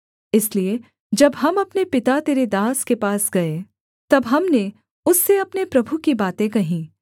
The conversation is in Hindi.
इसलिए जब हम अपने पिता तेरे दास के पास गए तब हमने उससे अपने प्रभु की बातें कहीं